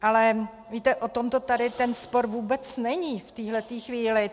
Ale víte, o tom tady ten spor vůbec není v téhle chvíli.